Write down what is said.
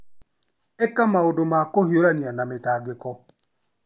Ĩka maũndũ ma kũhiũrania na mĩtangĩko.